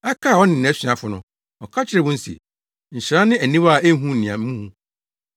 Ɛkaa ɔne nʼasuafo no, ɔka kyerɛɛ wɔn se, “Nhyira ne aniwa a ehu nea muhu!